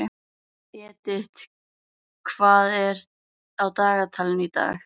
Edith, hvað er á dagatalinu í dag?